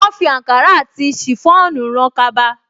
Wọ́́n fi àǹkárá àti ṣìfọ́ònù rán kaba